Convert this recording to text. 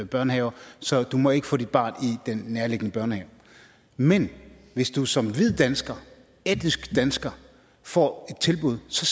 børnehaver så du må ikke få dit barn i den nærliggende børnehave men hvis du som hvid dansker etnisk dansker får et tilbud så